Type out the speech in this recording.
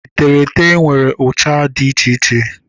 Eterete nwere ụcha dị iche iche